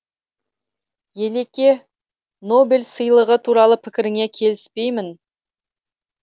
елеке нобель сыйлығы туралы пікіріңе келіспеймін